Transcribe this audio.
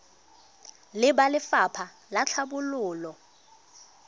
le ba lefapha la tlhabololo